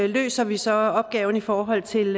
løser vi så opgaven i forhold til